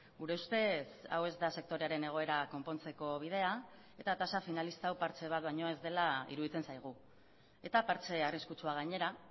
gure ustez hau ez da sektorearen egoera konpontzeko bidea eta tasa finalista hau partxe bat baino ez dela iruditzen zaigu eta partxe arriskutsua gainera